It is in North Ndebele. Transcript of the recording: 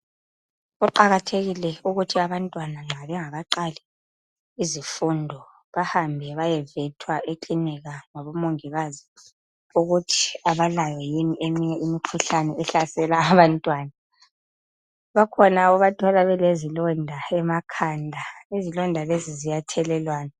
Kuqakathekile ukuthi abantwana nxa bengakaqali izifundo, bahambe bayevethwa ekinika labomungikazi, ukuthi awalayo yini eminye imikhuhlane ehlasela abantwana. Bakhona obathola belezilonda emakhanda. Izilonda lezi ziyathelelwana.